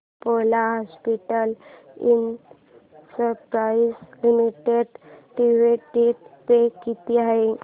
Apollo hospitals enterprise limited dividend pay किती आहे